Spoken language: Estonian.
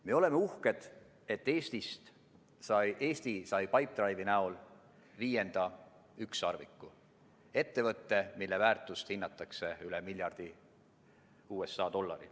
Me oleme uhked, et Eesti sai Pipedrive'i abil viienda ükssarviku – ettevõtte, mille väärtust hinnatakse üle miljardi USA dollari.